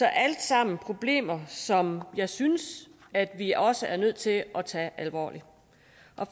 er alle sammen problemer som jeg synes at vi også er nødt til at tage alvorligt